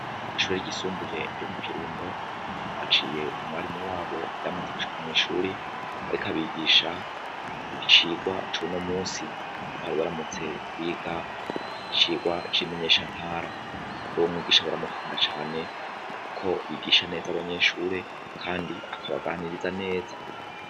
Ishuri ryisumbuye ryo mu Kirundo twahaciye umwarimu wabo yamaze gushika mwishuri ariko abigisha icigwa cuno munsi, aho bari baramutse biga icigwa cimenyesha ntara, rero uwomwigisha baramukunda cane kuko yigisha neza abanyeshure kandi akabaganiriza neza.